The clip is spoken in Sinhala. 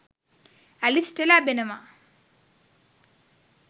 ඇලිස්ට ලැබෙනවා.